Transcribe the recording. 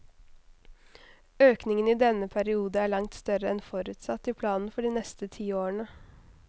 Økningen i denne periode er langt større enn forutsatt i planen for de neste ti årene.